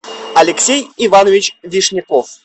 алексей иванович вишняков